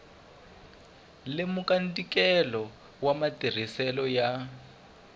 lemuka ntikelo wa matirhiselo ya